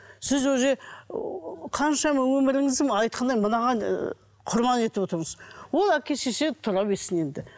сіз уже ы қаншама өміріңізді айтқандай мынаған ы құрбан етіп отырсыз ол әке шеше тұра берсін енді